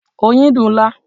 Oyin dùn-ún lá.